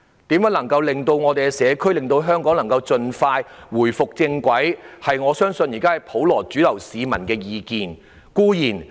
如何能夠令到社區及香港盡快回復正軌，我相信是普羅市民的主流意見。